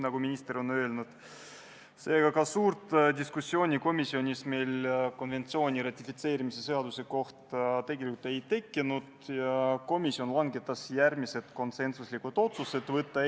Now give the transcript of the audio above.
Kui meresõiduohutuse seaduse eelnõu majanduskomisjoni tuli, siis oli kõigile teada, et see on direktiividest tulenev väike seadusekene, mis siis ikka, läheb ruttu ja tõenäoliselt teab mis suuri muudatusi ei tule.